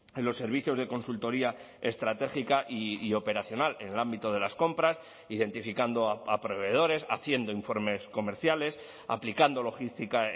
en los servicios de consultoría estratégica y operacional en el ámbito de las compras identificando a proveedores haciendo informes comerciales aplicando logística